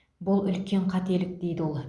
бұл үлкен қателік дейді ол